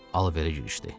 Alverə girişdi.